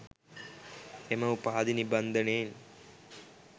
එම උපාධි නිබන්ධනයෙන්